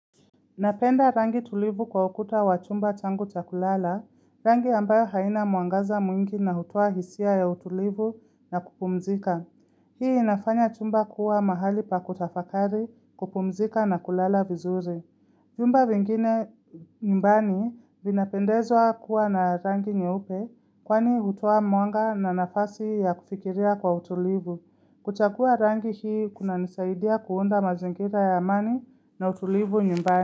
Napenda rangi tulivu kwa ukuta wa chumba changu cha kulala, rangi ambayo haina mwangaza mwingi na hutoa hisia ya utulivu na kupumzika. Hii inafanya chumba kuwa mahali pa kutafakari, kupumzika na kulala vizuri. Vyumba vingine nyumbani vinapendezwa kuwa na rangi nyeupe kwani hutoa mwanga na nafasi ya kufikiria kwa utulivu. Kuchagua rangi hii kunanisaidia kuunda mazingira ya amani na utulivu nyumbani.